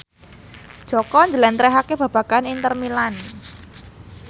Jaka njlentrehake babagan Inter Milan